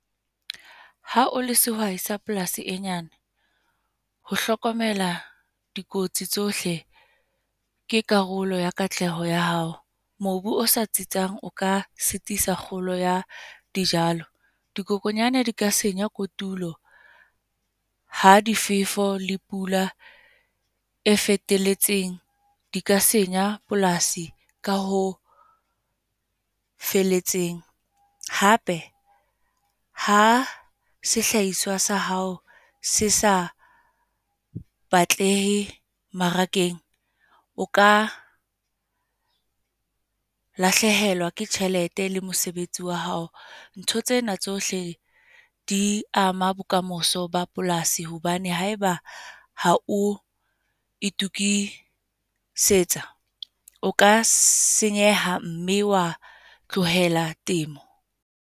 Ha o le sehwai sa polasi e nyane. Ho hlokomela dikotsi tsohle, ke karolo ya katleho ya hao. Mobu o sa tsitsang o ka sitisa kgolo ya dijalo. Dikokonyana di ka senya kotulo ha difefo le pula e feteletseng di ka senya polasi ka ho felletseng. Hape ha sehlahiswa sa hao se sa batlehe mmarakeng, o ka lahlehelwa ke tjhelete le mosebetsi wa hao. Ntho tsena tsohle di ama bokamoso ba polasi, hobane haeba ha o itukisetsa o ka senyeha, mme wa tlohela temo.